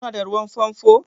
Ku na da ruwan famfo?